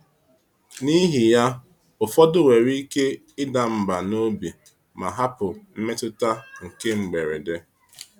N’ihi ya, ụfọdụ nwere ike ịda mbà n’obi ma hapụ mmetụta nke mberede.